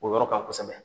O yɔrɔ kan kosɛbɛ